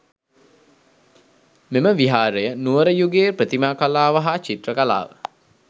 මෙම විහාරය නුවර යුගයේ ප්‍රතිමා කලාව හා චිත්‍ර කලාව